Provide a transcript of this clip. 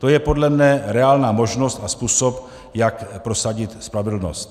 To je podle mne reálná možnost a způsob, jak prosadit spravedlnost.